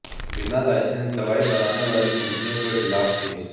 बिना लाइसेंस दवाएं बनाने वाली कंपनी के खिलाफ केस